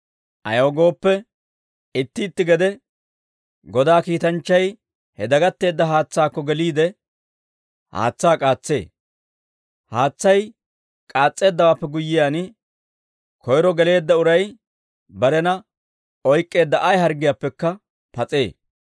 Ayaw gooppe, itti itti gede Godaa kiitanchchay he dagatteedda haatsaakko geliide, haatsaa k'aatsee; haatsay k'aas's'eeddawaappe guyyiyaan, koyro geleedda uray barena oyk'k'eedda ay harggiyaappekka pas'ee.]